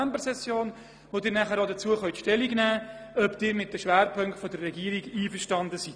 Dann können Sie auch dazu Stellung nehmen, ob Sie mit den Schwerpunkten der Regierung einverstanden sind.